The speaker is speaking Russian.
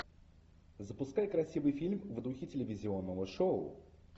запускай красивый фильм в духе телевизионного шоу